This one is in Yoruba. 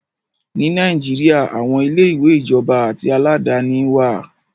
Ní Nàìjíríà, aàwọn ilé-ìwé ìjọba àti aládàáni wá à.